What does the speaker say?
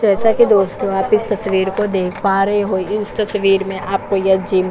जैसा की दोस्तों आप इस तस्वीर देख पा रहै है इस तस्वीर में आपको यह जिम --